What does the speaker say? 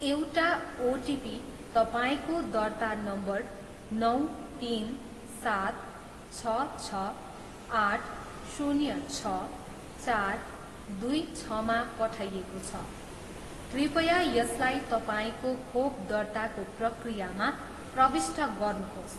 एउटा ओटिपी तपाईँँको दर्ता नम्बर नौ तिन सात छ छ आठ शून्य छ चार दुई छ मा पठाइएको छ, कृपया यसलाई तपाईँँको खोप दर्ताको प्रक्रियामा प्रविष्ट गर्नुहोस्।